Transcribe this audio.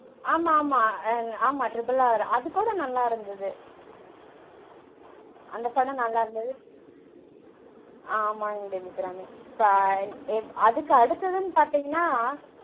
ஆமா ஆமா. ஆமா triple R அதுக்கூட நல்லா இருந்தது. அந்த படம் நல்லா இருந்தது. ஆமாங் தேவி அபிராமி. இப்போ அதுக்கு அடுத்ததுனு பாத்தீங்கனா